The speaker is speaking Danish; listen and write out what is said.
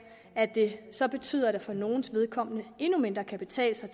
at det så betyder at det for nogles vedkommende endnu mindre kan betale sig